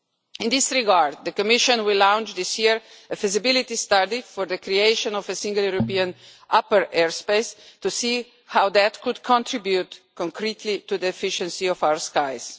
In this regard, the Commission will launch this year a feasibility study for the creation of a single European upper airspace to see how that could contribute concretely to the efficiency of our skies.